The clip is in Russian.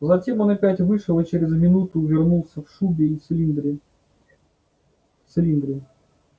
затем он опять вышел и через минуту вернулся в шубе и в цилиндре цилиндре